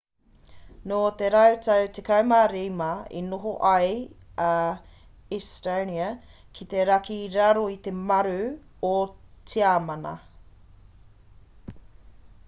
nō te rautau 15 i noho ai a estonia ki te raki i raro i te maru o tiamana